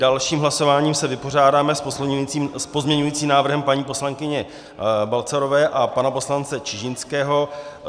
Dalším hlasováním se vypořádáme s pozměňovacím návrhem paní poslankyně Balcarové a pana poslance Čižinského.